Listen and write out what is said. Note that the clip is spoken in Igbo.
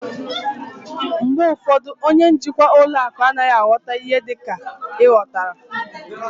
Mgbe ụfọdụ, onye njikwa ụlọ akụ anaghị aghọta ihe dịka ị ghọtara